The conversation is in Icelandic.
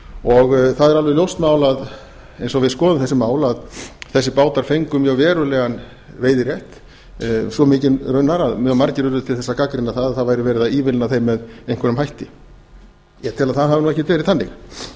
og það er alveg ljóst mál að eins og við skoðum þessi mál að þessir bátar fengu mjög verulegan veiðirétt svo mikinn raunar að mjög margir urðu til þess að gagnrýna það að það væri verið að ívilna þeim með einhverjum hætti ég tel að það hafi nú ekkert verið þannig